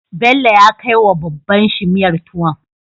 Bello ya kai wa wa babban shi miyar tuwon